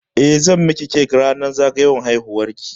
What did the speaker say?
Eh, zan miki cake ranar zagayowar haihuwar ki?